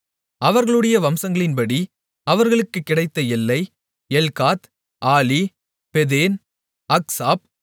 அவர்களுடைய வம்சங்களின்படி அவர்களுக்குக் கிடைத்த எல்லை எல்காத் ஆலி பேதேன் அக்சாப்